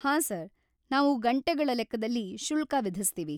ಹಾಂ ಸರ್‌, ನಾವು ಗಂಟೆಗಳ ಲೆಕ್ಕದಲ್ಲಿ ಶುಲ್ಕ ವಿಧಿಸ್ತೀವಿ.